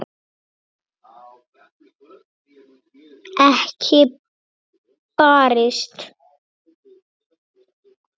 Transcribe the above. Ekki barist.